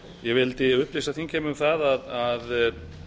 ég vildi upplýsa þingheim um það að